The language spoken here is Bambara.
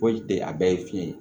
Foyi tɛ a bɛɛ ye fiɲɛ ye